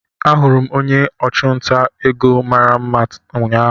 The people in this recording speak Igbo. Ahụrụ m onye ọchụnta ego mara mma ụnyahụ